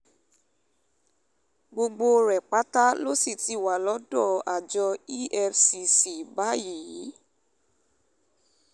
gbogbo rẹ̀ pátá ló sì ti wà lọ́dọ̀ àjọ efcc báyìí